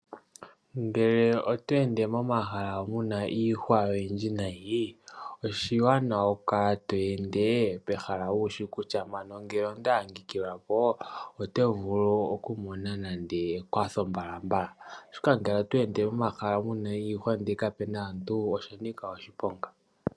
Ngele oto ende momahala mu na iihwa oyindji nayi oshiwanawa wu kale to ende pehala wushi kutya mpano ngele onda adhikililwa po otevulu okumona nande ekwatho mbalambala oshoka ngele oto ende momahala gu udha iihwa ndele kapuna aantu osha nika oshiponga.